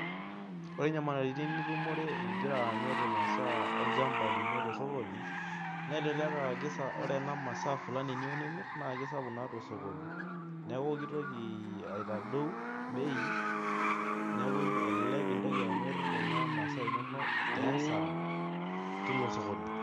Ore nyamalitin nitumore igira amir imasaa inonok tosokoni. naa ore igira amir imasaa Fulani. niyieu nimir naa kisapuk taa tosokoni. neeku kitoki zaitadiu bei neeku elelek intoki amir Kuna masaa inonok tee asara, teilo sokoni.